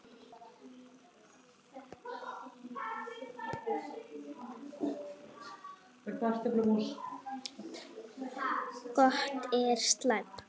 Gott eða slæmt?